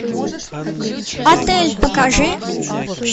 отель покажи